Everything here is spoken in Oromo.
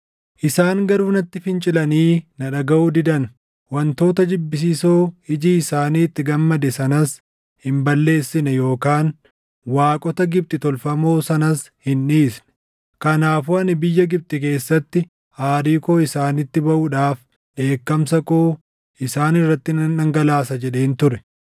“ ‘Isaan garuu natti fincilanii na dhagaʼuu didan; wantoota jibbisiisoo iji isaanii itti gammade sanas hin balleessine yookaan waaqota Gibxi tolfamoo sanas hin dhiisne. Kanaafuu ani biyya Gibxi keessatti aarii koo isaanitti baʼuudhaaf dheekkamsa koo isaan irratti nan dhangalaasa jedheen ture.